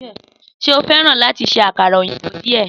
Sé o feran láti ṣe àkàrà òyìnbó díè?